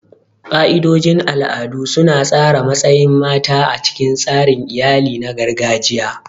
Ka'idojin al'adu su na tsara matsayin mata a cikin tsarin iyali na gargajiya.